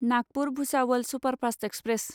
Nagpur Bhusawal superfast express